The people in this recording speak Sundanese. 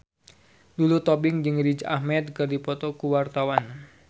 Lulu Tobing jeung Riz Ahmed keur dipoto ku wartawan